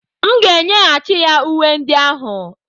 M ga-enyeghachi ya uwe ndị ahụ.